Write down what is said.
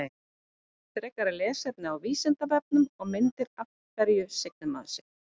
Frekara lesefni á Vísindavefnum og mynd Af hverju signir maður sig?